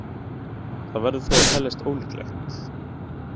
Það verður þó að teljast ólíklegt.